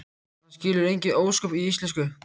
Hann skilur engin ósköp í íslensku.